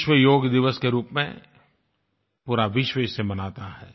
विश्व योग दिवस के रूप में पूरा विश्व इसे मनाता है